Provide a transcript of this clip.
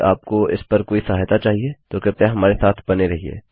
यदि आपको इस पर कोई सहायता चाहिए तो कृपया हमारे साथ बने रहिये